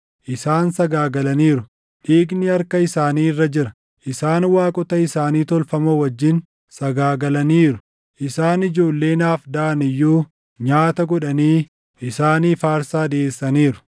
isaan sagaagalaniiru; dhiigni harka isaanii irra jira. Isaan waaqota isaanii tolfamoo wajjin sagaagalaniiru; isaan ijoollee naaf daʼan iyyuu nyaata godhanii isaaniif aarsaa dhiʼeessaniiru.